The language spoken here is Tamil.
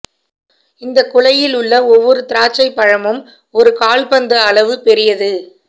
இந்தக் குலையில் உள்ள ஒவ்வொரு திராட்சைப் பழமும் ஒரு கோல்ப் பந்து அளவு பெரியது